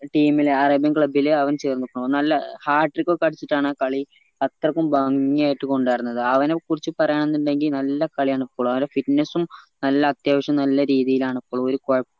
team ല് arabian club ല് അവൻ ചേർന്നു നല്ല hardtrick ഒക്കെ അടിച്ചിട്ടാണ് കളി അത്രക്കും ഭംഗി ആയിട്ട് കൊണ്ട് നടന്നത് അവനെ കുറിച് പറയന്നുണ്ടെങ്കി നല്ല കളിയാണ് ഇപ്പളും അവന്റെ fitness ഉം നല്ല അത്യാവശ്യം നല്ല രീതിയിലാണ് ഇപ്പളും ഒരു കൊഴപ്പോം